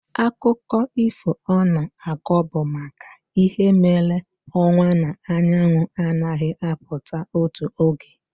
Akụkọ ifo ọ na-akọ bụ maka ihe mere ọnwa na anyanwụ anaghị apụta otu oge.